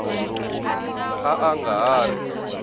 a a nga ha ri